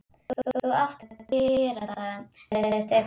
Þú átt að gera það, sagði Stefán.